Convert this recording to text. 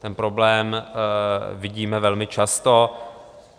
Ten problém vidíme velmi často.